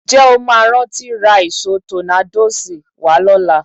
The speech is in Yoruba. Ǹjẹ́ o máa rántí ra ìṣó tọ́nádóòsì wá lọ́la?